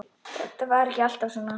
Þetta var ekki alltaf svona.